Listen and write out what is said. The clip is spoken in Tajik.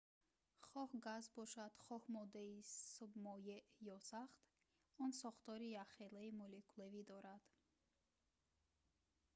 хоҳ газ бошад хоҳ моддаи моеъ ё сахт он сохтори якхелаи молекулавӣ дорад